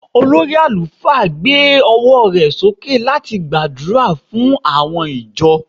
olórí alufa gbe ọwọ rẹ soke lati gbàdúrà fún àwọn ìjọ